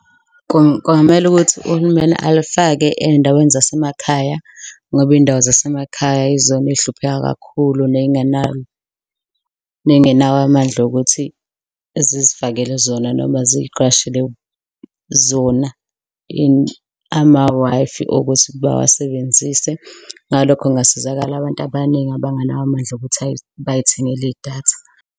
Kungamele ukuthi uhulumeni alifake ey'ndaweni zasemakhaya ngoba iy'ndawo zasemakhaya yizona ezihlupheka kakhulu ney'ngenawo ney'ngenawo amandla okuthi ziz'fakele zona noma ziqashele zona ama-Wi-Fi okuthi bawasebenzise. Ngalokho kungasizakala abantu abaningi abanganawo amandla okuthi bay'thengele idatha.